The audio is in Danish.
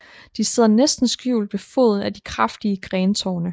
De sidder næsten skjult ved foden af de kraftige grentorne